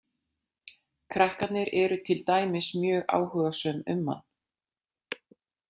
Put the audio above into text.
Krakkarnir eru til dæmis mjög áhugasöm um hann.